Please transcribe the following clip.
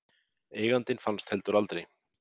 Eigandinn fannst heldur aldrei.